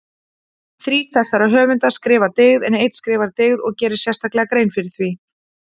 Þrír þessara höfunda skrifa dyggð en einn skrifar dygð og gerir sérstaklega grein fyrir því.